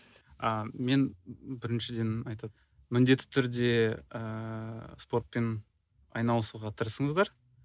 а мен біріншіден міндетті түрде ыыы спортпен айналысуға тырысыңыздар